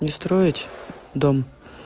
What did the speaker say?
не строить дом